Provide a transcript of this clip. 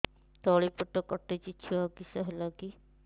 ତଳିପେଟ କାଟୁଚି ଛୁଆ କିଶ ହେଲା କି